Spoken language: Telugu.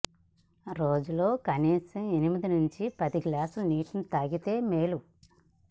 రోజులో కనీసం ఎనిమిది నుంచి పది గ్లాసుల నీటిని తాగితే మేలు